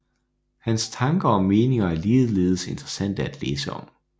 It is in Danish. Hans tanker og meninger er ligeledes interessante at læse om